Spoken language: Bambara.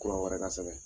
Kura wɛrɛ ka sɛbɛn